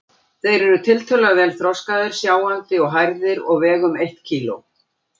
Þeir eru tiltölulega vel þroskaðir, sjáandi og hærðir og vega um eitt kíló.